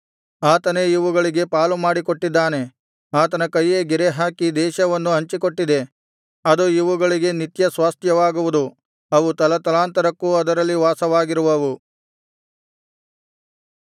ಆತನೇ ಇವುಗಳಿಗೆ ಪಾಲು ಮಾಡಿಕೊಟ್ಟಿದ್ದಾನೆ ಆತನ ಕೈಯೇ ಗೆರೆ ಹಾಕಿ ದೇಶವನ್ನು ಹಂಚಿಕೊಟ್ಟಿದೆ ಅದು ಇವುಗಳಿಗೆ ನಿತ್ಯ ಸ್ವಾಸ್ತ್ಯವಾಗುವುದು ಅವು ತಲಾತಲಾಂತರಕ್ಕೂ ಅದರಲ್ಲಿ ವಾಸವಾಗಿರುವವು